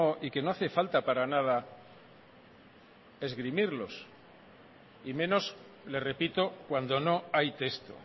y que no hace falta para nada esgrimirlos y menos le repito cuando no hay texto